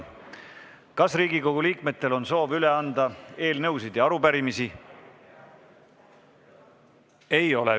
Kas Riigikogu liikmetel on soovi üle anda eelnõusid ja arupärimisi?